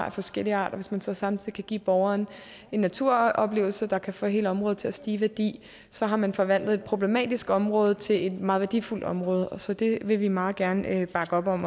af forskellig art og hvis man så samtidig kan give borgerne en naturoplevelse der kan få hele området til at stige i værdi så har man forvandlet et problematisk område til et meget værdifuldt område så det vil vi meget gerne bakke op om